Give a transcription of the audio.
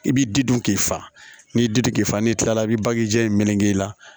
I bi di dun k'i fa n'i di k'i fa n'i kilala i bɛ bagija in meleke i la